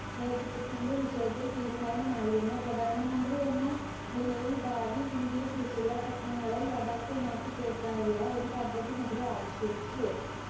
നേത്രത്വത്തിന്റെ വിശേഷ തീരുമാനമായിരുന്ന പ്രധാനമന്ത്രി എന്ന നിലയിൽ ഭാവി ഇന്ത്യയെ കുറിച്ചുള്ള സ്വപ്നങ്ങളെ യഥാർത്ഥമാക്കി തീർക്കാനുള്ള ഒരു പദ്ധതി നെഹ്‌റു ആവിഷ്കരിച്ചു